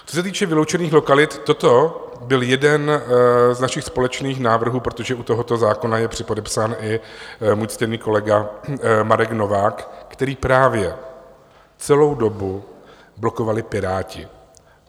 Co se týče vyloučených lokalit, toto byl jeden z našich společných návrhů, protože u tohoto zákona je připodepsán i můj ctěný kolega Marek Novák, který právě celou dobu blokovali Piráti.